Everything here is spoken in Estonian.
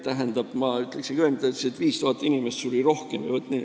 Tähendab, ta ütles, et 5000 inimest suri enne rohkem.